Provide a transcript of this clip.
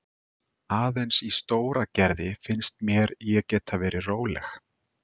Aðeins í Stóragerði fannst mér ég geta verið róleg.